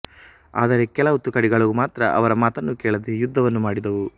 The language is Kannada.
ಆದರೆ ಕೆಲವು ತುಕಡಿಗಳು ಮಾತ್ರ ಅವರ ಮಾತನ್ನು ಕೇಳದೇ ಯುದ್ದವನ್ನು ಮಾಡಿದವು